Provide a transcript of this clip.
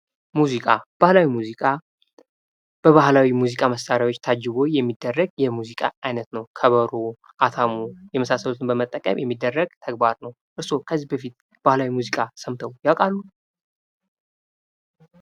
ሙዚቃ ባህላዊ ሙዚቃ በባህላዊ የሙዚቃ መሳርያዎች ታጅቦ የሙዚቃ አይነት ነው። ከበሮ፣ አታሞ የመሳሰሉትን በመጠቀም የሚደረግ ተግባር ነው። እርስዎ ከዚህ በፊት ባህላዊ ሙዚቃ ሰምተው ያቃሉ?